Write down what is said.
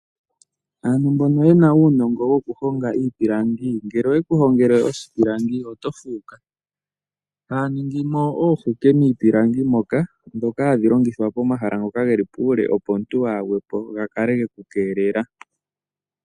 Aantu mbono yena uunongo woku honga iipilangi, ngele oye ku hongele oshipilangi oto fuuka. Haa ningi mo oohuke miipilangi moka ndhoka hadhi longithwa pomahala ngoka geli puule opo omuntu waa gwepo ga kale geku keelela.